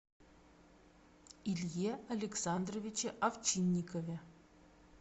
илье александровиче овчинникове